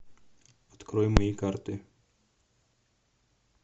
открой мои карты